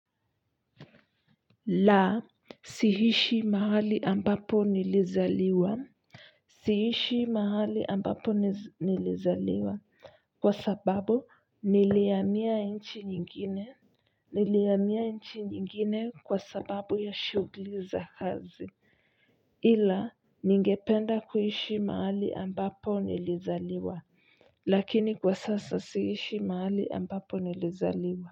La, siishi mahali ambapo nilizaliwa. Siishi mahali ambapo nilizaliwa. Kwa sababu nilihamia nchi nyingine. Nilihamia nchi nyingine kwa sababu ya shughuli za kazi. Ila, ningependa kuishi mahali ambapo nilizaliwa. Lakini kwa sasa siishi mahali ambapo nilizaliwa.